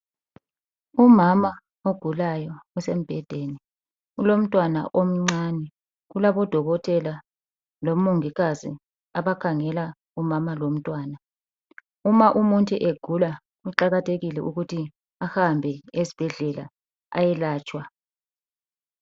Umama ogulayo osembhedeni. Ulomntwana omncane ,kulabo dokotela lo mongikazi abakhangela umama lo mntwana. Uma umuntu egula kuqakathekile ukuthi ehambe esibhedlela eyelatshwa.